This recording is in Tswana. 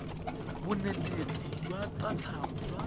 bonetetshi jwa tsa tlhago jwa